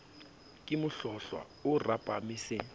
ke mohlohlwa o rapame se